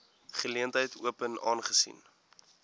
geleentheid open aangesien